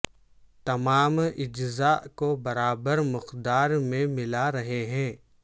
تمام اجزاء کو برابر مقدار میں ملا رہے ہیں